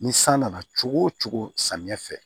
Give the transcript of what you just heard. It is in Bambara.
Ni san nana cogo o cogo samiyɛ fɛ